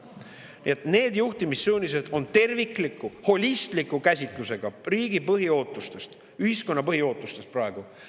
Nii et need juhtimissuunised on tervikliku, holistliku käsitlusega riigi põhiootustest, ühiskonna põhiootustest praegu.